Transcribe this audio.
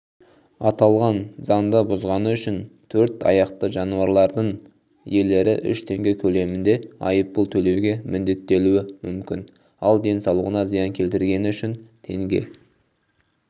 аталған заңды бұзғаны үшін төрт аяқты жануарлардың иелері үш теңге көлемінде айыппұл төлеуге міндеттелуі мүмкін ал денсаулығына зиян келтіргені үшін теңге